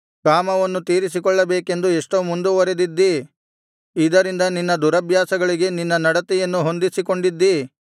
ಕಾಮವನ್ನು ತೀರಿಸಿಕೊಳ್ಳಬೇಕೆಂದು ಎಷ್ಟೋ ಮುಂದುವರೆದಿದ್ದಿ ಇದರಿಂದ ನಿನ್ನ ದುರಭ್ಯಾಸಗಳಿಗೆ ನಿನ್ನ ನಡತೆಯನ್ನು ಹೊಂದಿಸಿಕೊಂಡಿದ್ದಿ